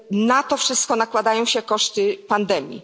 Na to wszystko nakładają się koszty pandemii.